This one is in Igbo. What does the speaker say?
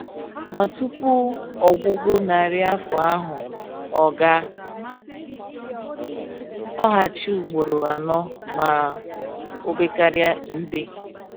Ma tupu ọgwụgwụ narị afọ ahụ, ọ ga lọghachi ụgboro anọ ma obekaria mbe